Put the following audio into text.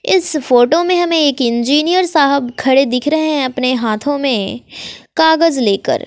इस फोटो में हमें एक इंजीनियर साहब खड़े दिख रहे हैं अपने हाथों में कागज लेकर।